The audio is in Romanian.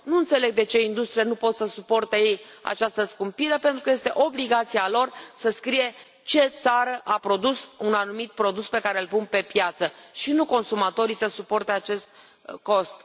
Nu înțeleg de ce industriile nu pot să suporte ele această scumpire, pentru că este obligația lor să scrie ce țară a produs un anumit produs pe care îl pun pe piață și nu consumatorii să suporte acest cost.